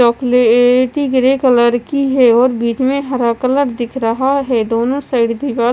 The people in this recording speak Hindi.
चॉकलेएटी ग्रे कलर है और बीच में हरा कलर दिख रहा है दोनों साइड दीवा--